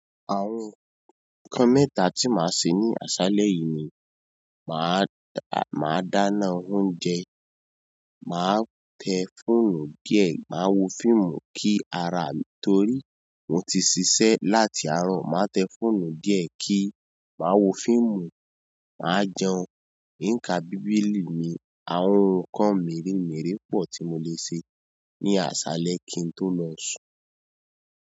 Àwọn nkán mẹ́ta tí màá ṣe ní àsálẹ́ yìí ni, màá dàá, màá dáná oúnjẹ, màá tẹ fóònù díẹ̀, màá wo fíìmù kí arà mi, nítorí mo ti ṣiṣẹ́ láti àárọ̀. Má tẹ fóònù díẹ̀ ki, máa wo filmu, máa jẹun, nka bíbélì mi àwọn ǹkan meere meere pọ̀ tí mo lè ṣe ní alẹ́ kín tó lọ sùn.